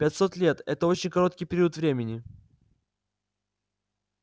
пятьсот лет это очень короткий период времени